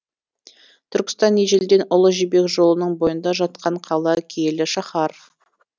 түркістан ежелден ұлы жібек жолының бойында жатқан қала киелі шаһар